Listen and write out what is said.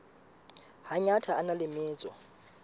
hangata a na le metso